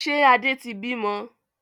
Ṣé Adé tí bí mọ?